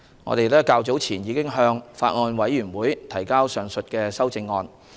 我們早前已向法案委員會提交上述修正案。